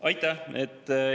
Aitäh!